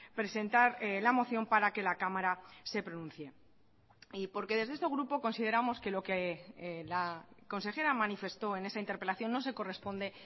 presentar la moción para que la cámara se pronuncie y porque desde este grupo consideramos que lo que la consejera manifestó en esa interpelación no se corresponde